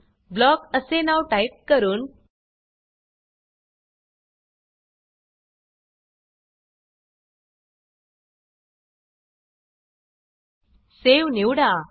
block असे नाव type करून सावे निवडा